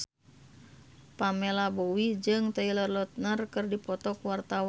Pamela Bowie jeung Taylor Lautner keur dipoto ku wartawan